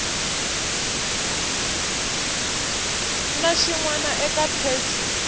na xin wana eka pheji